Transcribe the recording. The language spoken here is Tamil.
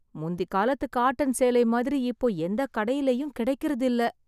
முந்தி காலத்து காட்டன் சேலை மாதிரி இப்போ எந்த கடையிலயும் கிடைக்கறது இல்ல.